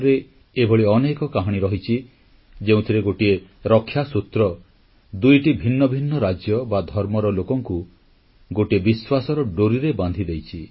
ଦେଶର ଇତିହାସରେ ଏଭଳି ଅନେକ କାହାଣୀ ରହିଛି ଯେଉଁଥିରେ ଗୋଟିଏ ରକ୍ଷାସୂତ୍ର ଦୁଇଟି ଭିନ୍ନ ଭିନ୍ନ ରାଜ୍ୟ ବା ଧର୍ମର ଲୋକଙ୍କୁ ଗୋଟିଏ ବିଶ୍ୱାସର ଡୋରିରେ ବାନ୍ଧି ଦେଇଛି